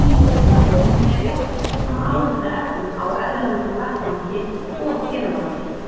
Hvernig er leyst úr slíkum álitaefnum á erlendum vettvangi og hér á landi?